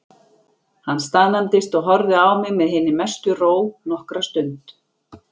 Hann staðnæmdist og horfði á mig með hinni mestu ró nokkra stund.